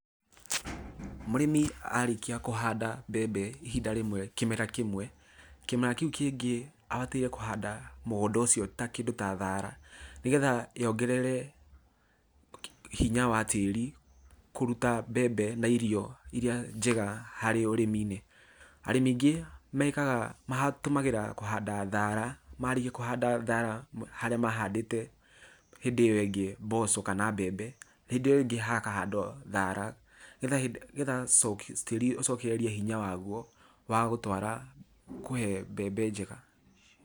Mũrĩmi arĩkia kũhanda mbembe ihinda rĩmwe kĩmera kĩmwe, kĩmera kĩũ kĩngĩ abataire kũhanda mũgũnda ũcio ta kĩndũ ta thara nĩgetha yongerere okey hinya wa tĩri kũrũta mbembe na irio iria njega harĩ ũrĩmi-inĩ. Arimĩ aingĩ mekaga matũmagĩra kũhanda thara, marĩkia kũhanda thara, harĩa mahandĩte hĩndĩ ĩyo ĩngĩ mboco kana mbembe, hĩndĩ ĩyo ĩngĩ haka handwo thara getha nĩgetha tĩri ũcokererie hinya wagũo wa gũtwara, kuhe mbembe njega.